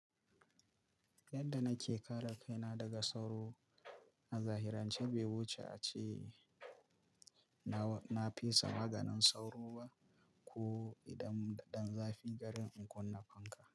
Yadda nake kare kaina daga sauro, a zahirance bai wuce a ce na fesa maganin sauro ba ko idan zafin garin in kunna fanka.